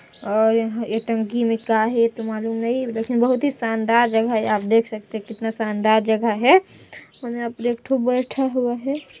और यह ये टंकी में का है ये तो मालूम नहीं लेकिन बहुत ही शानदार जगह है आप देख सकते है कितना शानदार जगह है और यहाँ एकठो बैठा हुआ हैं।